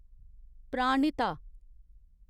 Pranahita